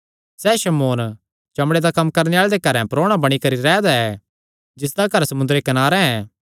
सैह़ शमौन चमड़े दा कम्म करणे आल़े दे घरैं परोणा बणी करी रैह् दा ऐ जिसदा घर समुंदरे कनारे ऐ